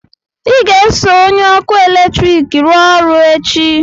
ị ga-eso onye ọkụ eletrik rụọ ọrụ echi!